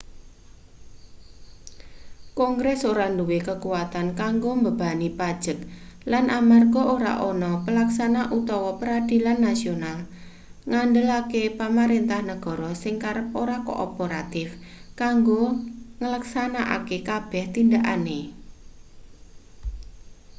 kongres ora duwe kekuatan kanggo mbebani pajek lan amarga ora ana pelaksana utawa peradilan nasional ngendelake pamarentah negara sing kerep ora kooperatif kanggo ngleksanakake kabeh tindakane